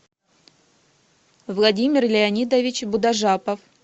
владимир леонидович будажапов